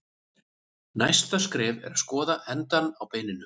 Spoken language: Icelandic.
Næsta skref er að skoða endana á beininu.